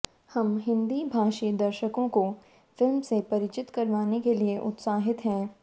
हम हिंदी भाषी दर्शकों को फिल्म से परिचित करवाने के लिए उत्साहित हैं